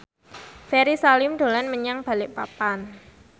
Ferry Salim dolan menyang Balikpapan